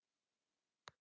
en þar segir meðal annars